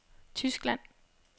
Tyskland